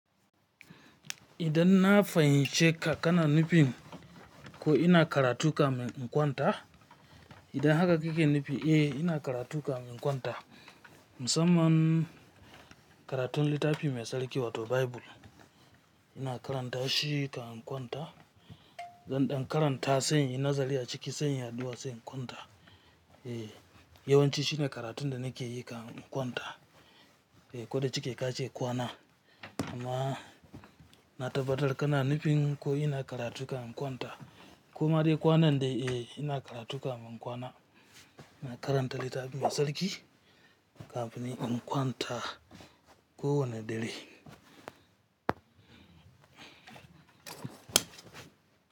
Idan na fahimce ka kana nufin ko ina karatu kamar in kwanta, idan haka kake nufi eh ina karatu kamar in kwanta. Musamman karatun littafi mai sarki wato Baibul, ina karanta shi kan in kwanta. Zan dan karanta sai inyi nazari a ciki sai inyi aɗuwa sai in kwanta. Eh yawanci shine karatun da nake yi kamin in kwanta. Eh kode cike ka ce kwana amma na tabbatar kana nufin ko ina karatu kan in kwanta. Ko ma dai kwana dai eh ina karatu kamin in kwana. Ina karanta littafi mai sarki kafin in kwanta ko wane dare.